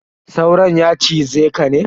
Sauron ya cize ka ne?